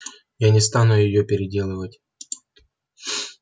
я не стану её переделывать